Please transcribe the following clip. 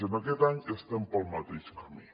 i en aquest any estem pel mateix camí